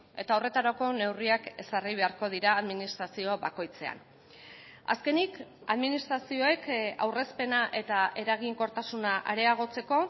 eta horretarako neurriak ezarri beharko dira administrazio bakoitzean azkenik administrazioek aurrezpena eta eraginkortasuna areagotzeko